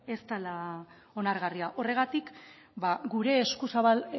ez dela onargarria horregatik eskuzabal